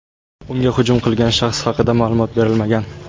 unga hujum qilgan shaxs haqida ma’lumot berilmagan.